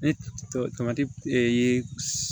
Ne tɔgɔ tamati ee